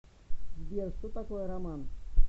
сбер что такое роман